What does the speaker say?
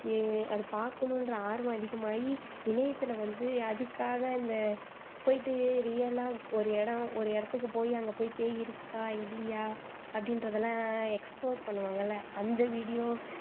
எர் அதை பாக்கணுன்ற ஆர்வம் அதிகமாயி இணையத்துல வந்து அதுக்காக இந்த போயிட்டு real ஆ ஒரு இடம் அந்த இடத்துக்கு போயி அங்க போயி பேய் இருக்கா இல்லையா அப்படின்றதெல்லாம் explore பண்ணுவாங்கல்ல அந்த video